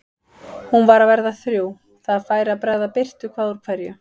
Hún var að verða þrjú, það færi að bregða birtu hvað úr hverju.